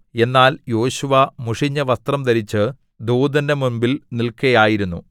എന്നാൽ യോശുവ മുഷിഞ്ഞ വസ്ത്രം ധരിച്ചു ദൂതന്റെ മുമ്പിൽ നിൽക്കയായിരുന്നു